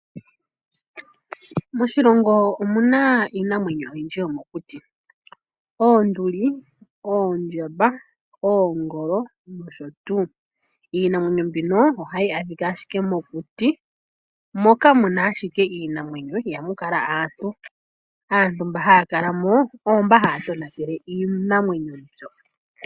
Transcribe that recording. Moshilongo omuna iinamwenyo oyindji yomokuti oonduli, ondjamba, oongolo nosho tuu. Iinamwenyo mbino ohayi adhika ashike mokuti moka muna ashike iinamwenyo, ihamu kala aantu. Aantu mba haya kala mo oomboka haya tonatele iinamwenyo mbyoka.